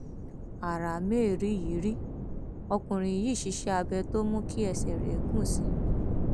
ara mériyìírí ọkùnrin yìí ṣiṣẹ abẹ tó mú kí ẹsẹ rẹ gùn sí i